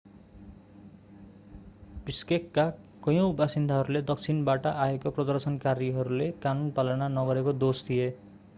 बिश्केकका कयौं बासिन्दाहरूले दक्षिणबाट आएका प्रदर्शनकारीहरूले कानून पालना नगरेको दोष दिए